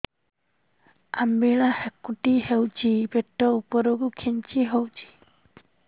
ଅମ୍ବିଳା ହେକୁଟୀ ହେଉଛି ପେଟ ଉପରକୁ ଖେଞ୍ଚି ହଉଚି